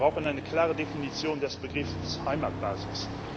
Wir brauchen eine klare Definition des Begriffs Heimatbasis.